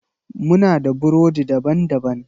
Muna da burodi daban-baban.